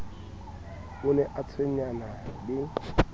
o re o tshwenyana le